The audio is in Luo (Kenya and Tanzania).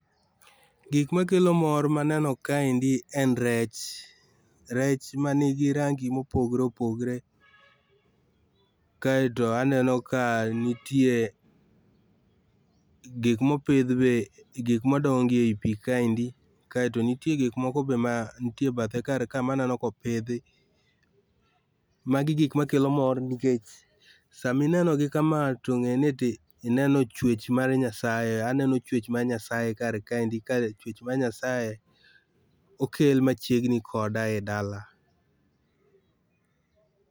Gik makelo mor maneno kaendi en rech. Rech manigirangi mopogore opogore. Kaeto aneno ka nitie gik mopidh be gik madongo e pii kaendi. Kae to nitie gik moko be manitie ebathe kar ka be maneno kopidhi. Magi gik makelo mor nikech saminenogi kamaa to ng'e ni tineno chuech mar Nyasaye, aneno chuech mar Nyasaye kar kaendi ka chuech mar Nyasaye okel machiegni koda edala.